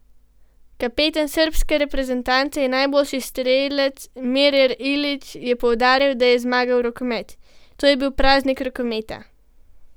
Kapetan srbske reprezentance in najboljši strelec Momir Ilić je poudaril, da je zmagal rokomet: 'To je bil praznik rokometa.